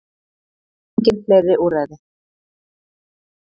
Engin fleiri úrræði